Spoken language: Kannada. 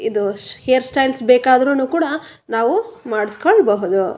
ಇದು ಹೇರ್ ಸ್ಟೈಲ್ ಬೇಕಾದ್ರೂನು ಕೂಡ ನಾವು ಮಾಡಿಸ್ಕೊಬೋದು.